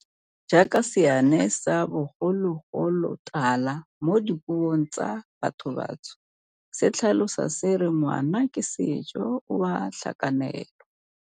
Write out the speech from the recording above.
Jaaka seane sa bogologolotala mo dipuong tsa bathobantsho se tlhalosa se re ngwana ke sejo, o a tlhakanelwa.